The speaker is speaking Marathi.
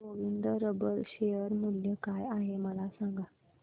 गोविंद रबर शेअर मूल्य काय आहे मला सांगा